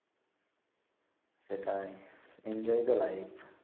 সেটাই Enjoy the Life